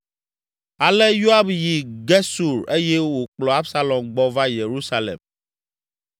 Ale Yoab yi Gesur eye wòkplɔ Absalom gbɔ va Yerusalem.